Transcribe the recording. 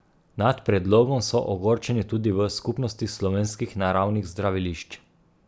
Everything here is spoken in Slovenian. Nad predlogom so ogorčeni tudi v Skupnosti slovenskih naravnih zdravilišč.